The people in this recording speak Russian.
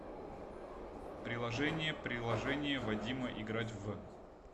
приложение приложение вадима играть в